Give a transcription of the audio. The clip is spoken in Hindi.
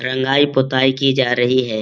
रंगाई पोताई की जा रही है।